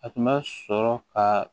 A tun bɛ sɔrɔ ka